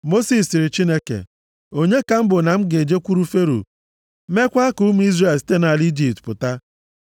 Mosis sịrị Chineke, “Onye ka m bụ na m ga-ejekwuru Fero, meekwa ka ụmụ Izrel site nʼala Ijipt pụta?”